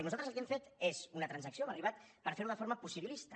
i nosaltres el que hem fet és una transacció hem arribat per fer ho de manera possibilista